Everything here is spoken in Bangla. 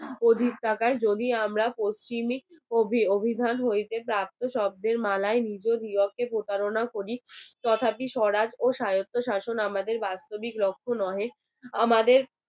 অধিক টাকায় যদি আমরা পশ্চিম অভিধান হইতে শব্দের মালায় নিজ নিজ প্রতারণা করি তথাপি স্বরাজ ও সাহিত্য শাসন আমাদের বাস্তব লক্ষ্য নয় আমাদের